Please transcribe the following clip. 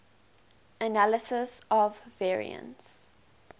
analysis of variance